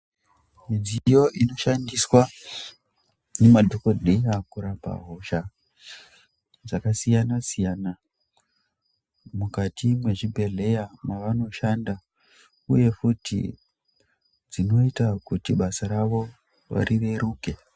Midziyo inoshandiswa nemadhokodheya kurapa hosha dzakasiyana siyana mukati mwechibhedhleya chavanoshanda uye futhi zvinoita kuti basa ravo rireruke.